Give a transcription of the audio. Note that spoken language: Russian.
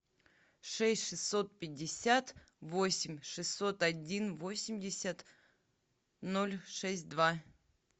шесть шестьсот пятьдесят восемь шестьсот один восемьдесят ноль шесть два